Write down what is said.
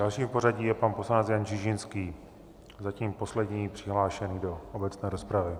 Dalším v pořadí je pan poslanec Jan Čižinský, zatím poslední přihlášený do obecné rozpravy.